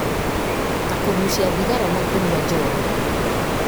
ta kũgucia thigara na kũnywa njohi